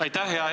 Aitäh!